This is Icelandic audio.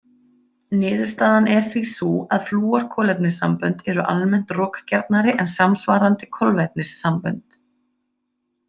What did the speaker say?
Niðurstaðan er því sú að flúorkolefnissambönd eru almennt rokgjarnari en samsvarandi kolvetnisssambönd.